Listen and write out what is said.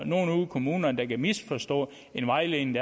nogle ude i kommunerne der kan misforstå en vejledning